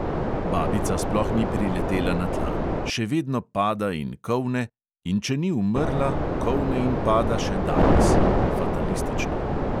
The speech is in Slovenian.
Babica sploh ni priletela na tla: še vedno pada in kolne, in če ni umrla, kolne in pada še danes